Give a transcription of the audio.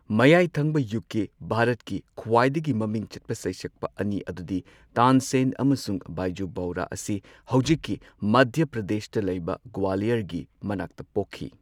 ꯃꯌꯥꯏ ꯊꯪꯕ ꯌꯨꯒꯀꯤ ꯚꯥꯔꯠꯀꯤ ꯈ꯭ꯋꯥꯏꯗꯒꯤ ꯃꯃꯤꯡ ꯆꯠꯄ ꯁꯩꯁꯛꯄ ꯑꯅꯤ ꯑꯗꯨꯗꯤ ꯇꯥꯟꯁꯦꯟ ꯑꯃꯁꯨꯡ ꯕꯥꯏꯖꯨ ꯕꯥꯎꯔꯥ ꯑꯁꯤ ꯍꯧꯖꯤꯛꯀꯤ ꯃꯙ꯭ꯌ ꯄ꯭ꯔꯗꯦꯁꯇ ꯂꯩꯕ ꯒ꯭ꯋꯥꯂꯤꯌꯔꯒꯤ ꯃꯅꯥꯛꯇ ꯄꯣꯛꯈꯤ꯫